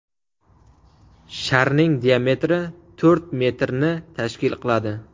Sharning diametri to‘rt metrni tashkil qiladi.